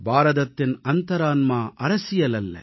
பாரதத்தின் அந்தரான்மா அரசியல் அல்ல